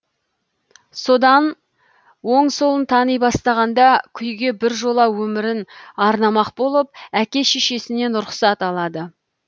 содан оң солын тани бастағанда күйге біржола өмірін арнамақ болып әке шешесінен рұқсат алады